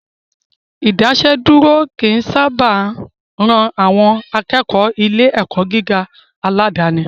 Ìdásẹ́dúró ò kí ń sábà ran àwọn akẹ́kọ̀ọ́ ilé ẹ̀kọ́ gíga aládàníi